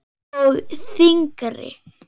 Og þyngri.